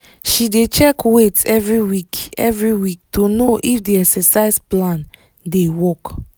she dey check weight every week every week to know if the exercise plan dey work